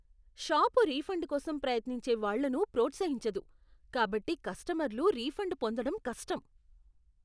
Shop refund కోసం ప్రయత్నించే వాళ్ళను ప్రోత్సహించదు కాబట్టి కస్టమర్లు రిఫండ్ పొందడం కష్టం.